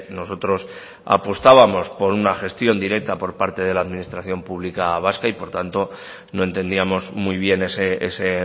nosotros apostábamos por una gestión directa por parte de la administración pública vasca y por tanto no entendíamos muy bien ese